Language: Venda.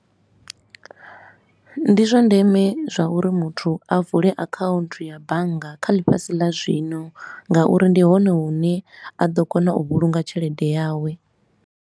Ndi zwa ndeme zwa uri muthu a vule account ya bannga kha ḽifhasi ḽa zwino nga uri ndi hone hune a ḓo kona u vhulunga tshelede yawe.